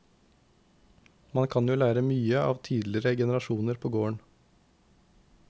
Man kan jo lære mye av tidligere generasjoner på gården.